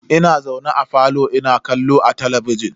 Ina zaune a falo ina kallo a talabijin.